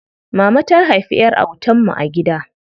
Mama ta haifi ƴar autan mu a gida.